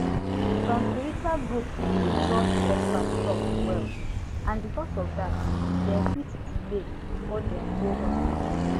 some spiritual group dey trust expert talk well and because of that dem fit delay before dem go hospital